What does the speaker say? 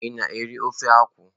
Ị na-eri ofe akwụ?